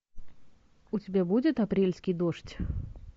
у тебя будет апрельский дождь